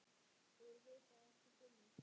Þeir vita ekkert um mig.